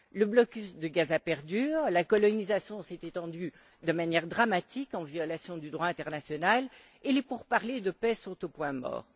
Le blocus de Gaza perdure, la colonisation s'est étendue de manière dramatique, en violation du droit international et les pourparlers de paix sont au point mort.